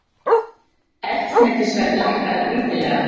Eldsneytisverð lækkar lítillega